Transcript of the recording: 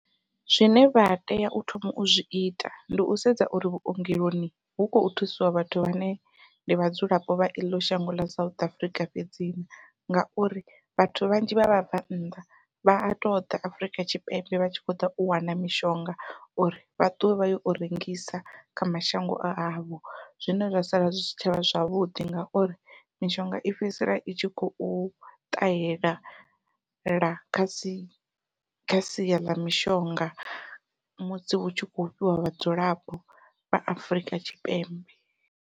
Zwine vha tea u thoma u zwi ita ndi u sedza uri vhuongeloni hu khou thusiwa vhathu vhane ndi vhadzulapo vha eḽo shango ḽa South Africa fhedzi na, ngauri vhathu vhanzhi vha vhabvannḓa vha a to ḓa Afurika Tshipembe vha tshi khou ḓa u wana mishonga uri vha ṱuwe vha yo u rengisa kha mashango a havho. Zwine zwa sala zwi si tshavha zwavhuḓi ngauri mishonga i fhedzisela i i tshi khou ṱahela la kha sia ḽa mishonga musi hu tshi kho fhiwa vhadzulapo vha Afrika Tshipembe.